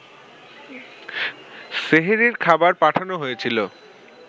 সেহরির খাবার পাঠানো হয়েছিল